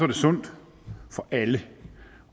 det sundt for alle